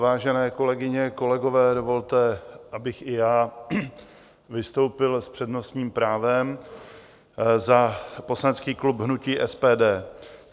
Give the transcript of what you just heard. Vážené kolegyně, kolegové, dovolte, abych i já vystoupil s přednostním právem za poslanecký klub hnutí SPD.